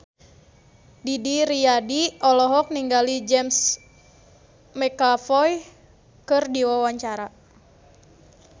Didi Riyadi olohok ningali James McAvoy keur diwawancara